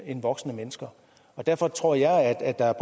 end voksne mennesker derfor tror jeg at der